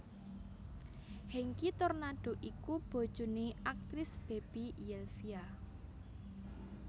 Hengky Tornando iku bojoné aktris Baby Zelvia